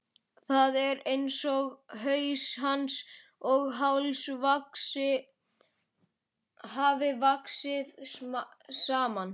Það er einsog haus hans og háls hafi vaxið saman.